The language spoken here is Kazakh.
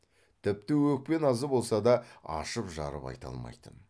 тіпті өкпе назы болса да ашып жарып айта алмайтын